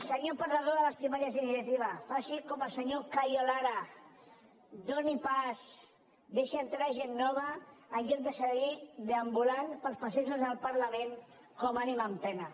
senyor perdedor de les primàries d’iniciativa faci com el senyor cayo lara doni pas deixi entrar gent nova en lloc de seguir deambulant pels passadissos del parlament com ànima en pena